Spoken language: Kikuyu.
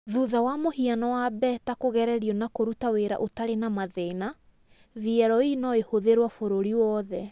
Thutha wa mũhiano wa beta kũgererio na kũruta wĩra ũtarĩ na mathĩna, VLE no ĩhũthĩrũo bũrũri wothe.